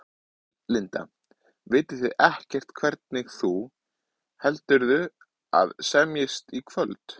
Linda: Vitið þið ekkert hvernig þú, heldurðu að semjist í kvöld?